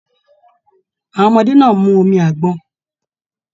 Àwọn ọmọdé náà mú omi àgbọn.